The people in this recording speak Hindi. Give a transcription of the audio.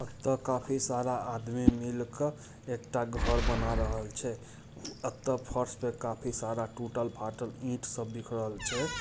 अबतक काफी सारा आदमी मिलकर एक टा घर बना रहल छै इतर फर्श पे काफी सारा टूटल फाटल ईंट सब बिखरल छे ।